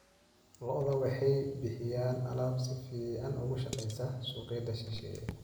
Lo'da lo'da waxay bixiyaan alaab si fiican uga shaqeysa suuqyada shisheeye.